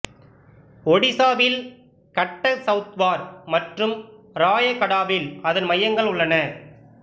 ஒடிசாவில் கட்டக் சவுத்வார் மற்றும் ராயகடாவில் அதன் மையங்கள் உள்ளன